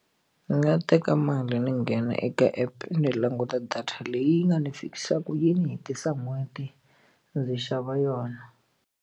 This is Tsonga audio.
Ndzi nga teka mali ni nghena eka app ni languta data leyi nga ndzi fikisaka yi ni hetisa n'hweti ndzi xava yona.